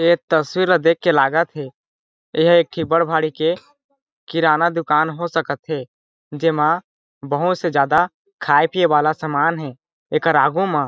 ये तस्वीर ला देख के लागत थे यहाँ एक कि बड़ भारी के किराना दुकान हो सकत हे जेमा बहुत से ज्यादा खाये पिये वाला समान हे एकर आगु मा --